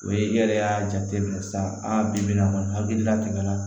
O ye i yɛrɛ y'a jate minɛ sisan aa bi-bi in na kɔni hakilila tɛmɛna